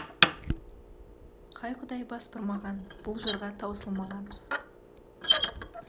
қай құдай бас бұрмаған бұл жырға таусылмаған